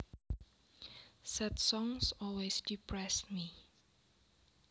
Sad songs always depress me